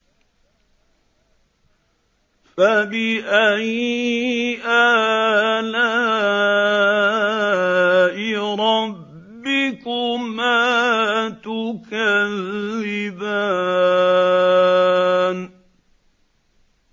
فَبِأَيِّ آلَاءِ رَبِّكُمَا تُكَذِّبَانِ